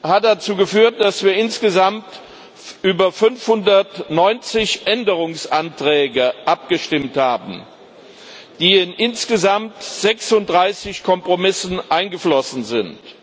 hat dazu geführt, dass wir insgesamt über 590 Änderungsanträge abgestimmt haben, die in insgesamt 36 Kompromisse eingeflossen sind.